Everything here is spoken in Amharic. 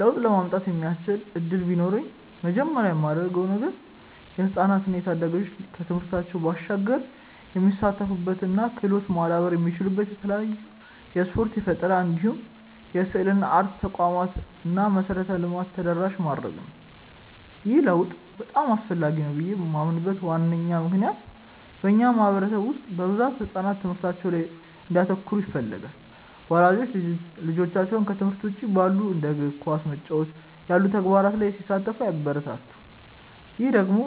ለውጥ ለማምጣት የሚያስችል እድል ቢኖረኝ መጀመሪያ ማደርገው ነገር የህፃናት እና ታዳጊዎች ከትምህርታቸው ባሻገር የሚሳተፉበት እና ክህሎታቸውም ማዳበር የሚችሉበት የተለያዩ የስፖርት፣ የፈጠራ እንዲሁም የስዕልና አርት ተቋማትን እና መሰረተ ልማትን ተደራሽ ማድረግ ነው። ይህ ለውጥ በጣም አስፈላጊ ነው ብዬ ማምንበት ዋነኛ ምክንያት በእኛ ማህበረሰብ ውስጥ በብዛት ህጻናት ትምህርታቸው ላይ ብቻ እንዲያተኩሩ ይፈለጋል። ወላጆችም ልጆቻቸው ከትምህርት ውጪ ባሉ እንደ ኳስ መጫወት ያሉ ተግባራት ላይ ሲሳተፉ አያበረታቱም። ይህ ደግሞ